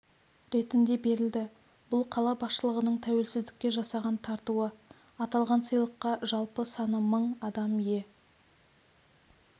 ретінде берілді бұл қала басшылығының тәуелсіздікке жасаған тартуы аталған сыйақыға жалпы саны мың адам ие